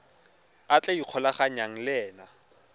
a tla ikgolaganyang le ena